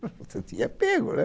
Você tinha pego, né?